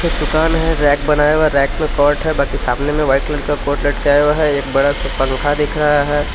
एक दुकान है रैक बनाया हुआ है रैक में शर्ट बाकी सामने में वाइट कलर का कोट लटकाया हुआ है एक बड़ा सा पंखा दिख रहा है।